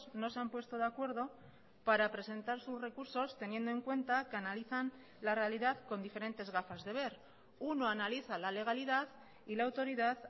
no se han puesto de acuerdo para presentar sus recursos teniendo en cuenta que analizan la realidad con diferentes gafas de ver uno analiza la legalidad y la autoridad